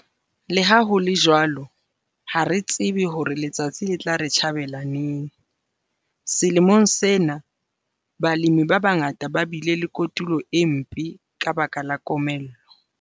Le ha ho le jwalo, ha re tsebe hore letsatsi le tla re tjhabela neng. Selemong sena, balemi ba bangata ba bile le kotulo e mpe ka baka la komello.